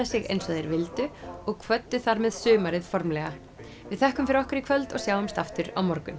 sig eins og þeir vildu og kvöddu þar með sumarið formlega við þökkum fyrir okkur í kvöld og sjáumst aftur á morgun